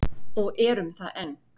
Og erum það enn.